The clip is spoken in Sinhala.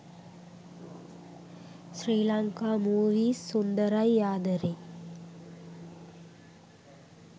sri lanka movies sundarai adare